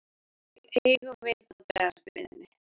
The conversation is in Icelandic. Hvernig eigum við að bregðast við henni?